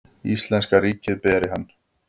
Íslenska ríkið beri hann.